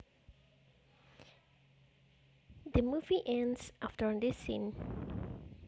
The movie ends after this scene